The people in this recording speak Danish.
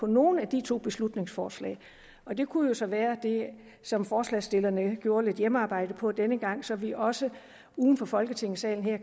nogen af de to beslutningsforslag og det kunne jo så være det som forslagsstillerne gjorde lidt hjemmearbejde på denne gang så vi også uden for folketingssalen her